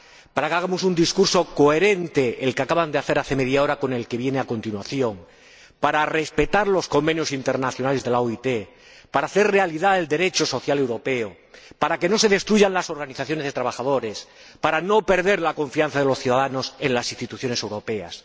para que hagamos un discurso coherente —el que acaban de hacer hace media hora con el que viene a continuación—, para respetar los convenios internacionales de la OIT, para hacer realidad el Derecho social europeo, para que no se destruyan las organizaciones de trabajadores, para no perder la confianza de los ciudadanos en las instituciones europeas.